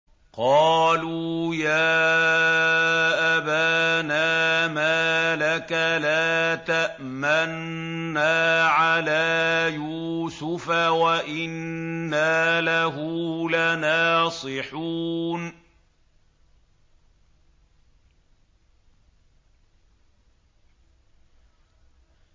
قَالُوا يَا أَبَانَا مَا لَكَ لَا تَأْمَنَّا عَلَىٰ يُوسُفَ وَإِنَّا لَهُ لَنَاصِحُونَ